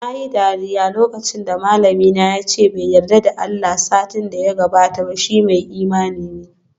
Nayi dariya lokacin da malamina yace bai yarda da Allah satin da ya gabata ba, shi mai imani ne